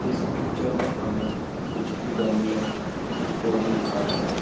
इस पिक्चर में हमें कुछ गमले कुछ पौधे दिखा दे रहे हैं।